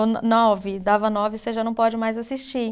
Ou no nove, dava nove você já não pode mais assistir.